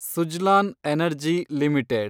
Suzlon Energy limited